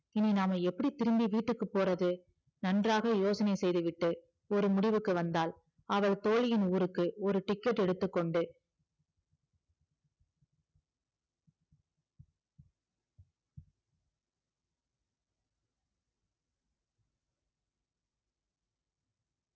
இனி நாம எப்படி திரும்பி வீட்டுக்கு போறது நன்றாக யோசனை செய்துவிட்டு ஒரு முடிவுக்கு வந்தாள் அவள் தோழியின் ஊருக்கு ஒரு ticket எடுத்துக்கொண்டு